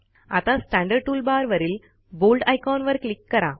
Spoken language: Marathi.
आता स्टँडर्ड टूलबारवरील बोल्ड आयकॉन वर क्लिक करा